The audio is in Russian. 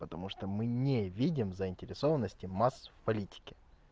потому что мы не видим заинтересованности масс в политике